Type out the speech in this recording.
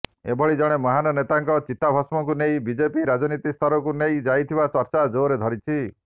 ଏଭଳି ଜଣେ ମହାନ ନେତାଙ୍କ ଚିତାଭସ୍ମକୁ ନେଇ ବିଜେପି ରାଜନୀତି ସ୍ତରକୁ ନେଇ ଯାଇଥିବା ଚର୍ଚ୍ଚା ଜୋର ଧରିଛି